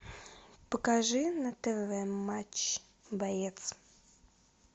покажи на тв матч боец